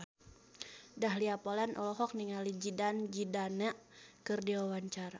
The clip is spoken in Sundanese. Dahlia Poland olohok ningali Zidane Zidane keur diwawancara